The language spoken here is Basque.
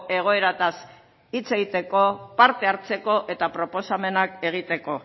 egoeraz hitz egiteko parte hartzeko eta proposamenak egiteko